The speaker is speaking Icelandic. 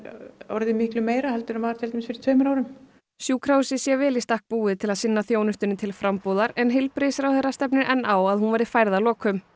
orðið miklu meira en fyrir tveimur árum sjúkrahúsið sé vel í stakk búið til að sinna þjónustunni til frambúðar en heilbrigðisráðherra stefnir enn á að hún verði færð að lokum